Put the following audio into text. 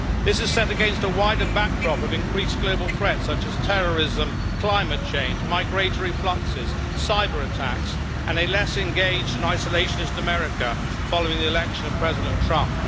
This is set against a wider backdrop of increased global threats such as terrorism, climate change, migratory fluxes, cyber attacks and a less engaged and isolationist America following the election of President Trump.